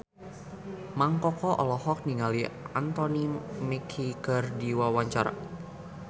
Mang Koko olohok ningali Anthony Mackie keur diwawancara